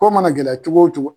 Ko mana gɛlɛ cogo o cogo